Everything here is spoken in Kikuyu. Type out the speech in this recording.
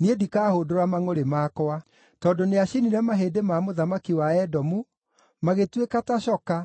niĩ ndikahũndũra mangʼũrĩ makwa. Tondũ nĩacinire mahĩndĩ ma mũthamaki wa Edomu, magĩtuĩka ta coka,